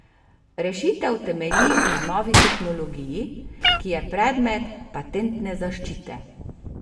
Rešitev temelji na novi tehnologiji, ki je predmet patentne zaščite.